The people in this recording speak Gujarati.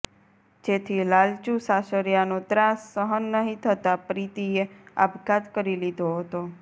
જેથી લાલચુ સાસરિયાનો ત્રાસ સહન નહિ થતા પ્રીતિએ આપઘાત કરી લીધો હતો